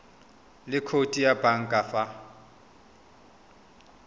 le khoutu ya banka fa